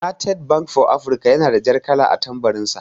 "United bank for Africa" yana da jar kala a tambarin sa.